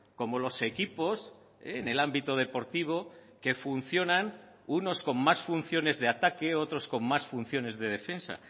como los equipos en el ámbito deportivo que funcionan unos con más funciones de ataque otros con más funciones de defensa